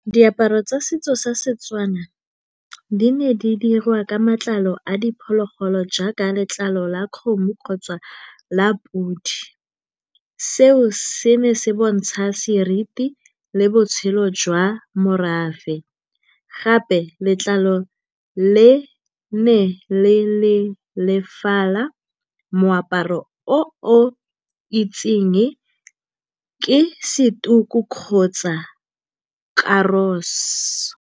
Diaparo tsa setso sa Setswana di ne di diriwa ka matlalo a diphologolo jaaka letlalo la kgomo kgotsa la podi. Seo se ne se bontsha seriti le botshelo jwa morafe, gape letlalo le ne le le lefala, moaparo o o itsing ke se tuku kgotsa karosi.